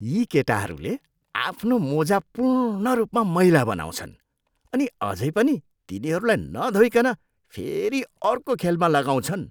यी केटाहरूले आफ्नो मोजा पूर्ण रूपमा मैला बनाउँछन् अनि अझै पनि तिनीहरूलाई नधोइकन फेरि अर्को खेलमा लगाउँछन्।